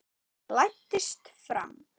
Læddist fram.